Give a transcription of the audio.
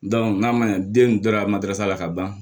n'a ma ɲɛ den dara ma darata la ka ban